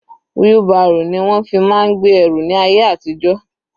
Wheelbarrow ni wọ́n fi máa ń gbé ẹrù ní ayé àtijó.